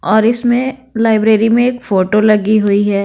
और इसमें लाइब्रेरी में एक फोटो लगी हुई है।